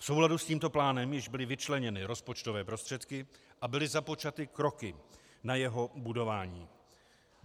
V souladu s tímto plánem již byly vyčleněny rozpočtové prostředky a byly započaty kroky na jeho budování.